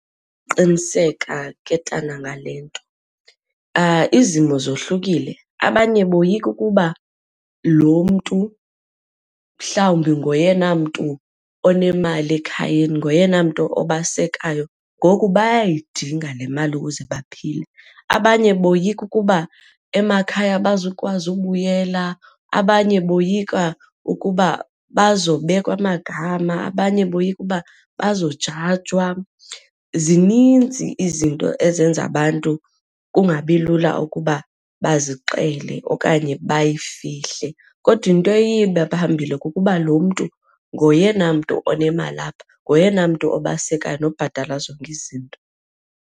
Qiniseka ke tana ngale nto, izimo zohlukile abanye boyika ukuba lo mntu mhlawumbi ngoyena mntu onemali ekhayeni, ngoyena mntu obasekayo ngoku bayayidinga le mali ukuze baphile. Abanye boyika ukuba emakhaya abazukwazi ubuyela, abanye boyika uba bazobekwa amagama, abanye boyika uba bazojajwa. Zininzi izinto ezenza abantu kungabi lula ukuba bazixele okanye bayifihle kodwa into eye ibe phambili kukuba lo mntu ngoyena mntu onemali apha, ngoyena mntu obasekayo nobhatala zonke izinto.